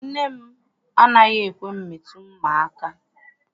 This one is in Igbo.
Nne m anaghị ekwe m metụ mma aka.